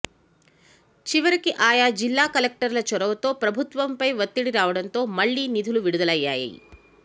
చివరికి ఆయా జిల్లా కలెక్టర్ల చొరవతో ప్రభుత్వంపై ఒత్తిడి రావడంతో మళ్లీ నిధులు విడుదలయ్యాయి